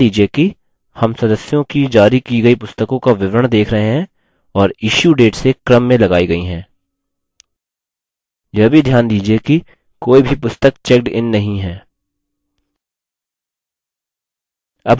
ध्यान दीजिये कि हम सदस्यों की जारी की गयी पुस्तकों का विवरण date रहे हैं और issue date से क्रम में लगायी गयी हैं